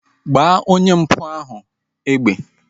Gbaa onye mpụ ahu egbe!